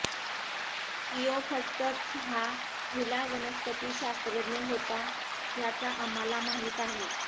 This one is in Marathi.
थियोफर्स्टस हा पहिला वनस्पतिशास्त्रज्ञ होता ज्याचा आम्हाला माहित आहे